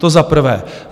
To za prvé.